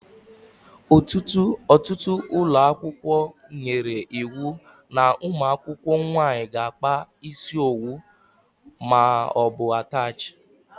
Ọtụtụ ụlọakwụkwọ nyere iwu n' umuakwukwo nwaanyị ga-akpa isi owu maọbu atachi.